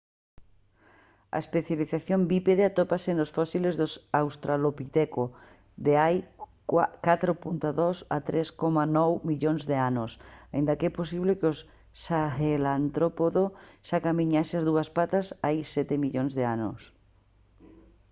a especialización bípede atópase nos fósiles dos australopiteco de hai 4,2 a 3,9 millóns de anos aínda que é posible que o sahelántropo xa camiñase a dúas patas hai sete millóns de anos